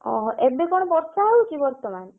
ଓହୋ ଏବେ କଣ ବର୍ଷା ହଉଛି ବର୍ତମାନ?